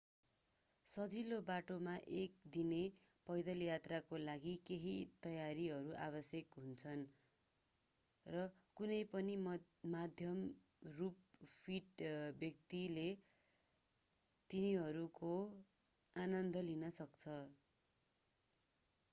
सजिलो बाटोमा एक दिने पैदल यात्राका लागि केही तयारीहरू आवश्यक हुन्छन् र कुनै पनि मध्यम रूपमा फिट व्यक्तिले तिनीहरूको आनन्द लिन सक्छ